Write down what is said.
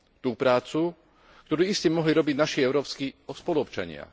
Tú prácu, ktorú iste mohli robiť naši európski spoluobčania.